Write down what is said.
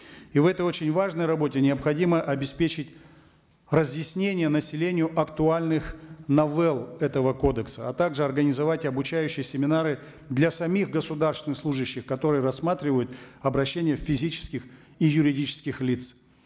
и в этой очень важной работе необходимо обеспечить разъяснение населению актуальных новелл этого кодекса а также организовать обучающие семинары для самих государственных служаших которые рассматривают обращения физических и юридических лиц